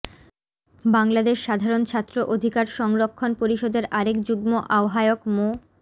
বাংলাদেশ সাধারণ ছাত্র অধিকার সংরক্ষণ পরিষদের আরেক যুগ্ম আহ্বায়ক মো